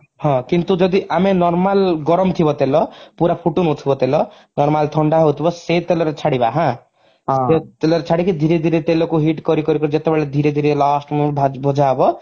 ହଁ କିନ୍ତୁ ଯଦି ଆମେ normal ଗରମ ଥିବ ତେଲ ପୁରା ଫୁଟୁନଥିବ ତେଲ normal ଥଣ୍ଡା ହଉଥିବ ସେଇ ତେଲ ରେ ଛାଡିବା ହାଁ ସେ ତେଲ ରେ ଛାଡିକି ଧୀରେ ଧୀରେ ତେଲକୁ heat କରି କରି କରି ଯେତେବେଳେ ଧୀରେ ଧୀରେ last moment ଭଜାହବ